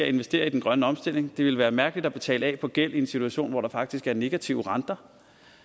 investere i den grønne omstilling det ville være mærkeligt at betale af på gæld i en situation hvor der faktisk er negative renter